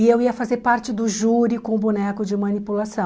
E eu ia fazer parte do júri com o boneco de manipulação.